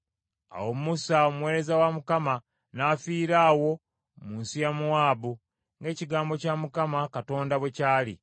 Awo Musa, omuweereza wa Mukama , n’afiira awo mu nsi ya Mowaabu, ng’ekigambo kya Mukama Katonda bwe kyali.